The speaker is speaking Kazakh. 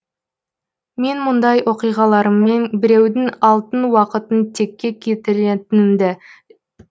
мен мұндай оқиғаларыммен біреудің алтын уақытын текке кетіретінімді